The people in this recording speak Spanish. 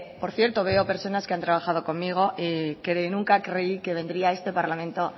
por cierto veo a personas que han trabajado conmigo nunca creí que vendría a este parlamento